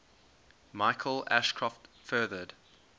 michael ashcroft furthered